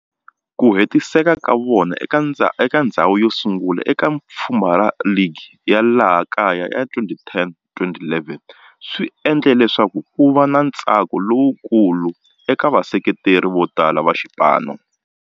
Ku hetisa ka vona eka ndzhawu yosungula eka pfhumba ra ligi ya laha kaya ya 2010, 2011 swi endle leswaku kuva na ntsako lowukulu eka vaseketeri votala va xipano.